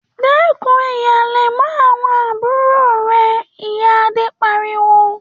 ‘Dé̩kun híhalè̩ mó̩ àwo̩n àbúrò re̩!’, iya Ade pariwo